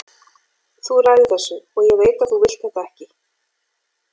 Þú ræður þessu, og ég veit að þú vilt þetta ekki.